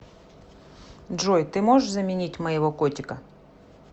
джой ты можешь заменить моего котика